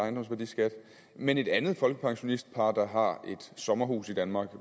ejendomsværdiskat mens et andet folkepensionistpar der har et sommerhus i danmark